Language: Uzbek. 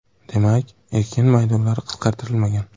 Demak, ekin maydonlari qisqartirilmagan.